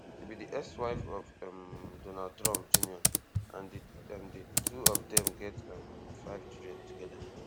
she be di ex wife of um donald trump jr and di and di two of dem get um five children togeda